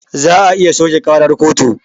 Za a iya soƙe ƙarar kotu